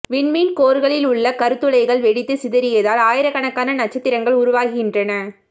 விண்மீன் கோர்களில் உள்ள கருந்துளைகள் வெடித்து சிதறியதால் ஆயிரகக்கணகான நட்சத்திரங்கள் உருவாகின்றன